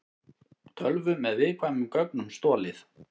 Tölvu með viðkvæmum gögnum stolið